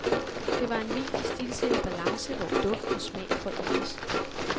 Det var en vin i stilsikker balance, hvor duft og smag forenes.